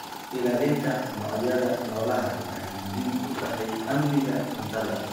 Ilaalinta noocyada noolaha waxay muhiim u tahay amniga cuntada.